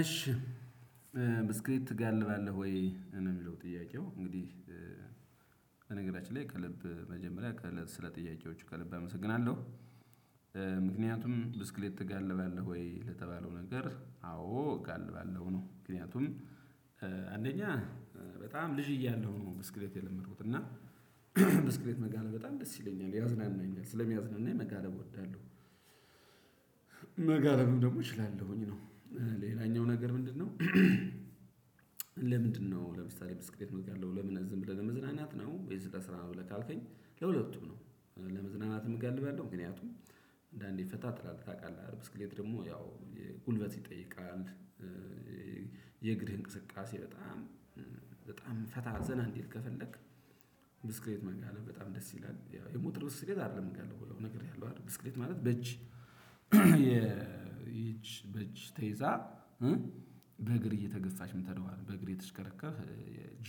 እሺ ብስክሌት ትጋልባለህ ወይ ነው ሚለው ጥያቄው እንግዲህ በነገራችን ላይ ከልብ መጀመሪያ ከለ ስለ ጥያቄዎቹ ከልብ አመሰግናለሁ ምክንያቱም ብስክሌት ትጋልባለህ ወይ ለተባለው ነገር አዎ እጋልባለሁ ነው ምክንያቱም አንደኛ በጣም ልጅ እያለሁ ነው ብስክሬት የለመድኩት እና ብስክሬት መጋለል በጣም ደስ ይለኛል ያዝናናኛል ስለሚያዝናናኝ የመጋለብ እወዳለሁ መጋለብም ደግሞ እችላለሁኝ ነው ሌላኛው ነገር ምንድነው ለምንድነው ለምሳሌ ብስክሌት ምጋልበው ለምን እዝ ብለን ለመዝናናት ነው ወይስለስራ ብለህ ካልከኝ ለሁለቱም ነው ለመዝናናትምጋልባለው ምክንያቱም አንዳንዴ ፈታ ትላለች ታቃለህ አደል ብስሌት ደግሞ ያው ጉልበት ይጠይቃል የእግድ እንቅስቃሴ በጣም በጣም ፈታ ዘና እንዲል ከፈለክ ብስክሬት መጋለብ በጣም ደስ ይላል ያው የሞተር ብስክሌት አይደለም ምጋልበውነገር ያለው አይደል ብስክሌት ማለት በእጅ የየጅ በጅ ተይዛ እ በእግር እየተገፍች የምቴደው በእግር የተሽከረከረች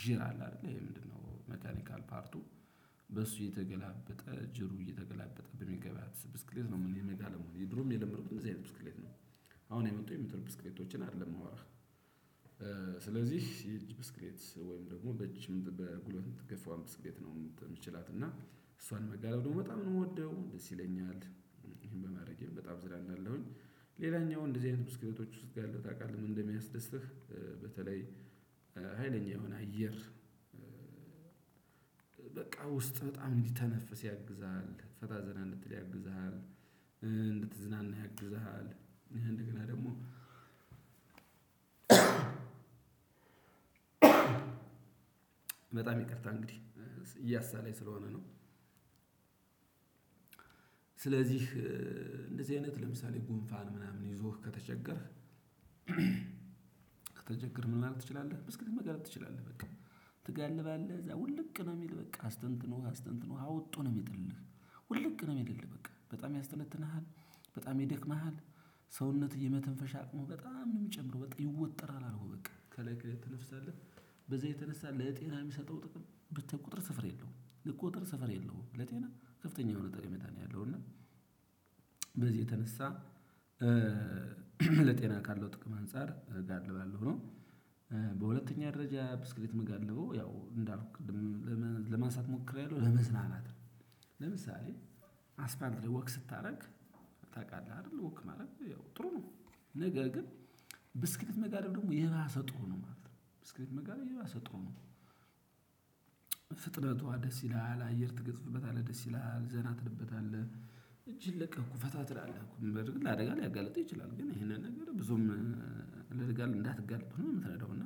በሱ የተገላበጠ ጀሩ እየተገላበጠ በሚገባ ስብስክሌት ነው ምን መጋልበው ድሮም የለመድኩት እንደዚህ አይነት ብስክሌት ነው አሁን የመጡ የሞተር ብስክሌቶችን አይደለም የማወራህ። ስለዚህ የእጅ ብስክሌት ወይም ደግሞ በእጅ በጉልበት ምትገፋዋን ብስክሌት ነው የምችላት እና እሷን መጋለብ ደግሞ በጣም ነው የምወደው፣ ደስ ይለኛል። በማድረጌም በጣም አዝናናለሁኝ። ሌላኛው እንደዚህ አይነት ብስክሌቶች ውስጥ ያለው ታውቃለህ ምን እንደሚያስደስትህ በተለይ ሀይለኛ የሆነ አየር በቃ ውስጥ በጣም እንዲተነፍስ ያግዝሃል፣ ፈታ ዘና እንድትል ያግዝሃል፣ እንድትዝናና ያግዝሃል፣ እንደገና ደግሞ በጣም ይቅርታ እንግዲህ እያሰለኝ ስለሆነ ነው። ስለዚህ እንደዚህ አይነት ለምሳሌ ጉንፋን ምናምን ይዞህ ከተቸገርክ ተቸገርን ማለት ትችላለህ ብስክሌት መጋለብ ትችላለህ በቃ። ትጋልባለህ እዛ ውልቅ ነው የሚል በቃ አስተንትኖህ አስተንትኖህ አወጦ ነው የሚጥልልህ ውልቅ ነው የሚልልህ በቃ በጣም ያስተነትንሃል፣ በጣም ይደክምሃል ሰውነትህ የመተንፈሻ አቅሙ በጣም ነው የሚጨምረው በቃ ይወጠራል አልኩህ በቃ ከላይ ከላይ ትተነፍሳለህ በዛ የተነሳ ለጤና የሚሰጠው ጥቅም ብታይ ቁጥር ስፍራ የለውም። ልቁጥር ስፍራ የለውም ለጤና ከፍተኛ የሆነ ጠቀሜታ ነው ያለው እና በዚህ የተነሳ ለጤና ካለው ጥቅም አንፃር እጋልባለሁ ነው። በሁለተኛ ደረጃ ብስክሌት ምጋልበው ያው እንዳልኩት ቅድም ለማ ለማንሳት ሞክሪያለሁ ለመዝናናት ነው። ለምሳሌ አስፋልት ላይ ወክ ስታደርግ ታውቃለህ አይደል ወክ ማረግ ያው ጥሩ ነው፤ ነገር ግን ብስክሌት መጋለብ ደግሞ የባሰ ጥሩ ነው ማለት ነው። ብስክሌት መጋለብ የባሰ ጥሩ ነው። ፍጥቷነ ደስ ይላል፣ አየር ትገጽፍበታለህ ደስ ይላል፣ ዘና ትልበታለህ፣ እጅህን ለቀህ አኮ ፈታ ትላለህ አኮ በእርግጥ ለአደጋ ሊያጋልጥህ ይችላል ግን ያው ይሄንን ነገር ብዙም ለአደጋ አንዳትጋለጥ ሆነህ ነው የምትነዳው እና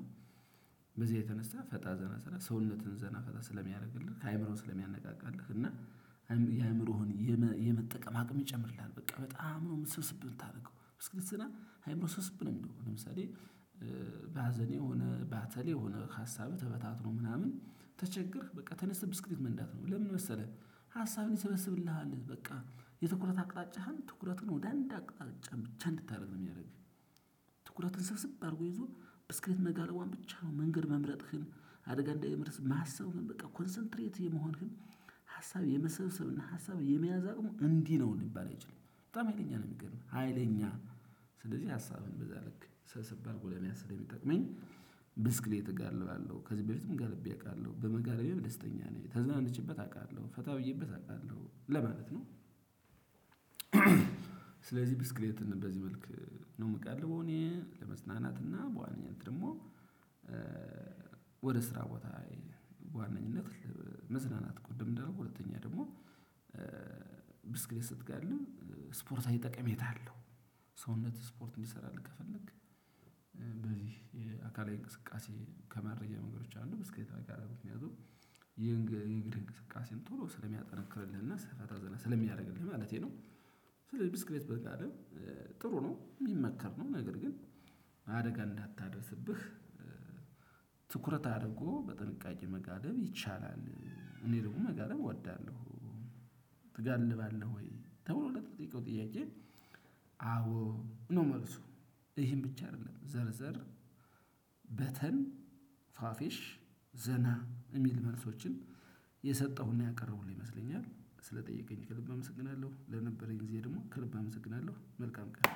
በዚያ የተነሳ ፈታ ዘና ስራ ሰውነትህን ዘና ፈታ ስለሚያደርግልህ አእምሮህን ስለሚያነቃቃልህ እና የአእምሮህን የመ የመጠቀም አቅም ይጨምርልሃል በቃ በጣም ነው ስብስብ የምታደርገው። ብስክሌት ስትነዳ አይምሮህ ስብስብ ነው የሚለው አሁን ለምሳሌ በሀዘኔ ሆነ፣ ባተሌ ሆነህ ሀሳብ ተበታትኖ ምናምን ተቸገርህ በቃ ተነስተህ ብስክሌት መንዳት ነው ለምን መሰለህ ሀሳብህን ይሰበስብልሃል በቃ የትኩረት አቅጣጫህን ትኩረቱን ወደ አንድ አቅጣጫ ብቻ እንድታደርግ ነው የሚያደርግህ። ትኩረትን ስብስብ አድርጎ ይዞ ብስክሌት መጋለቧን ብቻ ነው መንገድ መምረጥህን አደጋ እንዳይመርስ ማሰብህን በቃ ኮንሰንትሬት የመሆንህን ሀሳብ የመሰብሰብ እና ሀሳብ የመያዝ አቅሙ እንዲህ ነው ሊባል አይችልም። በጣም ሀይለኛ ነው የሚገርምህ ሀይለኛ ነው ስለዚህ ሀሳብን በዛ ልክ ሰብሰብ አርጎ ለመያዝ ስለሚጠቅመኝ ብስክሌት እጋልባለሁ። ከዚህ በፊትም ጋልቤ አውቃለሁ በመጋለቤም ደስተኛ ነኝ። ተዘናንቼበት አውቃለሁ፣ ፈታ ብዬበት አውቃለሁ ለማለት ነው። ስለዚህ ብስክሌትን በዚህ መልክ ነው የምጋልበው እኔ ለመዝናናትና በዋነኝነት ደግሞ ወደ ስራ ቦታ በዋነኝነት መዝናናት ቅድም አንዳልኩ ሁለተኛ ደግሞ ብስክሌት ስትጋልብ ስፖርታዊ ጠቀሜታ አለው። ሰውነትህ ስፖርት እንዲሰራልህ ከፈለክ በዚህ የአካላዊ እንቅስቃሴ ከማድረጊያ መንገዶች አንዱ ብስክሌት መጋለብ ምክንያቱም ይሄን ግርግር እንቅስቃሴን ቶሎ ስለሚያጠነክርልና ስራ ፈታ ዘና ስለሚያደርግልህ ማለቴ ነው። ስለዚህ ብስክሌት መጋለብ ጥሩ ነው፣ የሚመከር ነው፣ ነገር ግን አደጋ እንዳታደርስብህ ትኩረት አድርጎ በጥንቃቄ መጋለብ ይችላል፤ አኔ ደግሞ መጋለብ አወዳለሁ። "ትጋልባለሁ ወይ?" ተብሎ ለተጠየቀው ጥያቄ አዎ ነው መልሱ። ይሄም ብቻ አይደለም ዘርዘር በተን፣ ፋፌሽ፣ ዘና የሚል መልሶችን የሰጠሁና ያቀረቡልኝ ይመስለኛል። ስለጠየቀኝ ከልብ አመሰግናለሁ ለነበረኝ ጊዜ ደግሞ ከልብ አመሰግናለሁ መልካም ቀን።